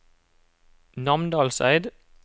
Namdalseid